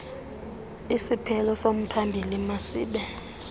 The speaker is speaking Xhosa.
isiphelo somphambili masibe